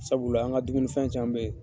Sabula an ka dumunifɛn ca be yen